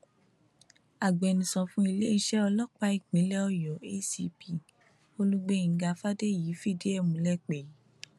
agbẹnusọ fún iléeṣẹ ọlọpàá ìpínlẹ ọyọ acp olùgbèńgá fàdèyí fìdí ẹ múlẹ pé